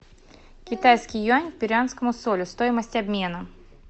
китайский юань к перуанскому соли стоимость обмена